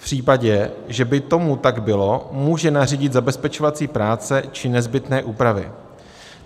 V případě, že by tomu tak bylo, může nařídit zabezpečovací práce či nezbytné úpravy.